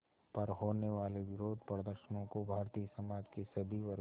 पर होने वाले विरोधप्रदर्शनों को भारतीय समाज के सभी वर्गों